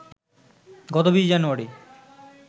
গত ২০ জানুয়ারি